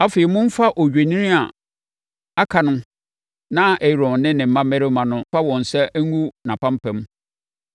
“Afei, momfa odwennini a aka no na Aaron ne ne mmammarima mfa wɔn nsa ngu nʼapampam,